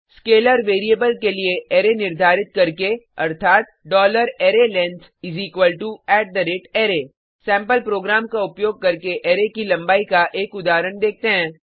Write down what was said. scalar variable के लिए array निर्धारित करके अर्थात arrayLength array सैंपल प्रोग्राम का उपयोग करके अरै की लंबाई का एक उदाहरण देखते हैं